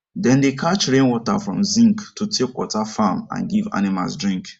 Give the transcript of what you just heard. dem dey catch rainwater from zinc to take water farm and give animals drink